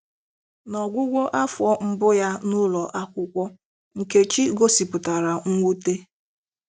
” N'ọgwụgwụ afọ mbu ya n'ụlọ akwụkwọ,, Nkechi gosipụtara mwute.